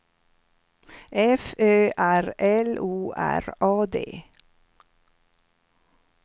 F Ö R L O R A D